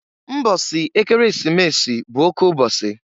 Mbọsị Ekeresimesi bụ oke ụbọsị.